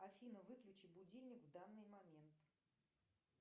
афина выключи будильник в данный момент